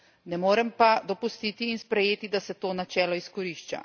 Ne morem pa dopustiti in sprejeti, da se to načelo izkorišča.